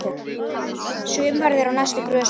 Sumarið er á næstu grösum.